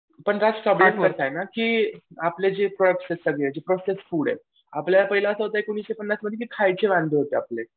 पण त्यात आहे ना की आपले जे प्रोसेस्ड फूड आहेत आपल्याला पहिला असे होते की एकोणीसशे पन्नासमध्ये खायचे वांदे होते.